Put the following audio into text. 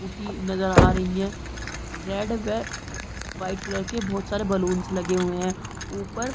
बूटी नजर आ रही है रेड व वाइट कलर के बहुत सारे बालूंस लगे हुए हैं ऊपर --